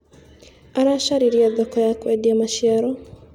Aracaririe thoko ya kwendia maciaro.